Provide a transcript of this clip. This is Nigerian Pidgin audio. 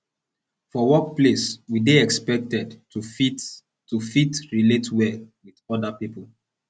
for workplace we dey expected to fit to fit relate well with oda pipo